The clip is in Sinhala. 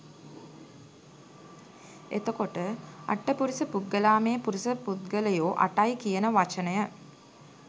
එතකොටඅට්ඨපුරිස පුග්ගලාමේ පුරිස පුද්ගලයෝ අටයි කියන වචනය